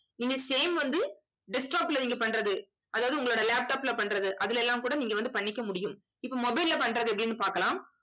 நீங்க same வந்து desktop ல நீங்க பண்றது. அதாவது உங்களோட laptop ல பண்றது அதுல எல்லாம் கூட நீங்க வந்து பண்ணிக்க முடியும் இப்ப mobile ல்ல பண்றது எப்படின்னு பாக்கலாம்.